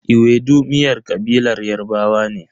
Ewedu miyar kabilar Yarbawa ne.